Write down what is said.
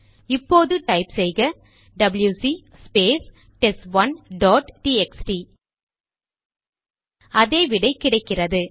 இப்போது டைப் செய்க W C space test one dot T X T அதே விடை கிடைக்கிறது